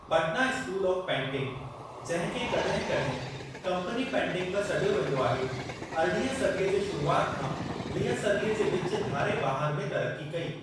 Patna school of painting, जंहिं खे कॾहिं कॾहिं ऽकम्पनी पेंटिंग बि सॾियो वेंदो आहे, अरिड़हीं सदीअ जे शुरूआति खां वीह सदी जे विचु धारे बहारु में तरक़्क़ी कई।